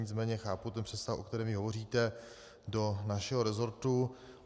Nicméně chápu ten přesah, o kterém vy hovoříte, do našeho resortu.